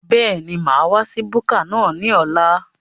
Bẹ́ẹ̀ni, mo máa wá sí búkà náà ní ọ̀la